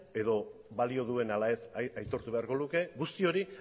edo balio duen ala ez aitortu beharko luke guzti hori